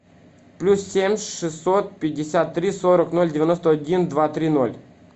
плюс семь шестьсот пятьдесят три сорок ноль девяносто один два три ноль